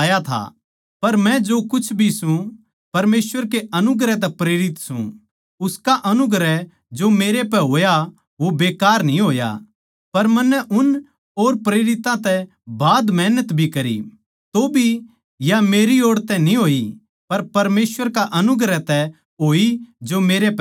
पर मै जो कुछ भी सूं परमेसवर के अनुग्रह तै प्रेरित सूं उसका अनुग्रह जो मेरै पै होया वो बेकार न्ही होया पर मन्नै उन और प्रेरितां तै बाध मेहनत भी करी तौभी या मेरी ओड़ तै न्ही होई पर परमेसवर का अनुग्रह तै होई जो मेरै पै था